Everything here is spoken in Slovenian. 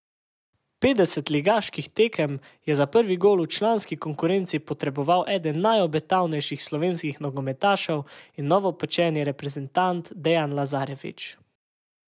Petdeset ligaških tekem je za prvi gol v članski konkurenci potreboval eden najobetavnejših slovenskih nogometašev in novopečeni reprezentant Dejan Lazarević.